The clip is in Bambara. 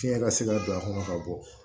Fiɲɛ ka se ka don a kɔnɔ ka bɔ